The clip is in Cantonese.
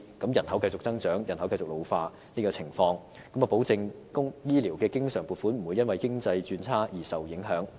即使人口繼續增長，人口繼續老化，這做法可保證醫療經常撥款不會因為經濟轉差而受影響。